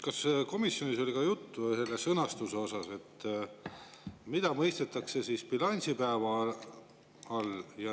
Kas komisjonis oli juttu ka sõnastusest ja sellest, mida mõistetakse bilansipäeva all?